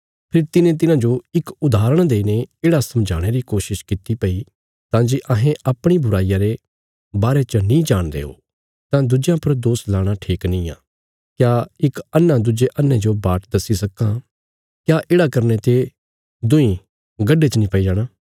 फेरी तिने तिन्हांजो इक उदाहरण देईने येढ़ा समझाणे री कोशिश किति भई तां जे अहें अपणी बुराईया रे बारे च नीं जाणदे ओ तां दुज्यां पर दोष लाणा ठीक नींआ क्या इक अन्हा दुज्जे अन्हे जो बाट दस्सी सक्कां क्या येढ़ा करने ते दुईं गढे च नीं पई जाणा